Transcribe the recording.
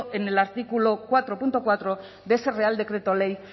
en el artículo cuatro punto cuatro de ese real decreto ley